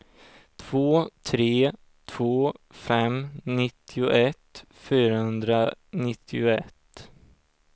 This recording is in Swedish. två tre två fem nittioett fyrahundranittioett